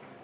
Siis paneme